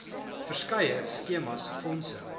verskeie skemas fondse